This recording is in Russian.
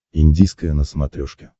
индийское на смотрешке